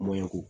Mɔɲɔko